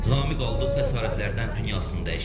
Zamiq aldığı xəsarətlərdən dünyasını dəyişib.